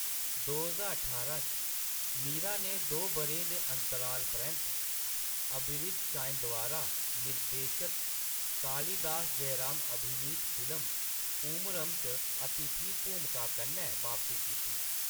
दो ज्हार ठारां च, मीरा ने दो बʼरें दे अंतराल परैंत्त अबरिद शाइन द्वारा निर्देशित कालिदास जयराम अभिनीत फिल्म पूमरम च अतिथि भूमका कन्नै बापसी कीती।